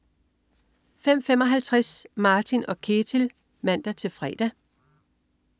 05.55 Martin & Ketil (man-fre)